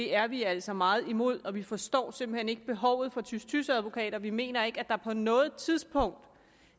er vi altså meget imod og vi forstår simpelt hen ikke behovet for tys tys advokater vi mener ikke at der på noget tidspunkt